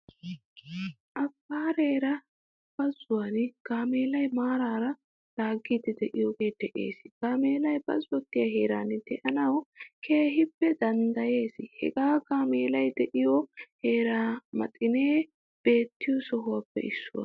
Afaare bazzuwan gaameela maarara laagidi deiyoge de'ees. Gaamelaay bazzotiyaa heeran deanawu keehin danddayees. Hagee gaamelay deiyo heeraymaxine beettiyo sohuwappe issuwaa.